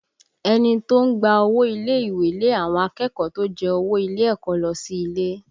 Ẹni tó ń gba owó ilé ìwé lé àwọn akẹ́kọ̀ọ́ tó jẹ owó ilé ẹ̀kọ́ lọ sí ilé